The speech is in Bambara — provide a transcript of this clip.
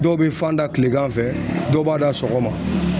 Dɔw bɛ fan da tilegan fɛ dɔw b'a da sɔgɔma